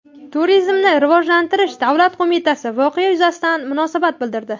Turizmni rivojlantirish davlat qo‘mitasi voqea yuzasidan munosabat bildirdi .